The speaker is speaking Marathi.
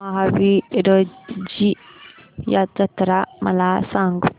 महावीरजी जत्रा मला सांग